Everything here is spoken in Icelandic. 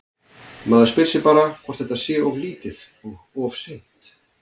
Maður spyr sig bara hvort að þetta sé of lítið og of seint?